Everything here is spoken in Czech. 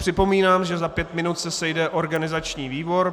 Připomínám, že za pět minut se sejde organizační výbor.